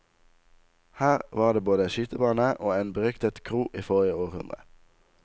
Her var det både skytebane og en beryktet kro i forrige århundre.